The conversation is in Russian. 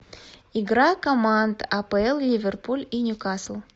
игра команд апл ливерпуль и ньюкасл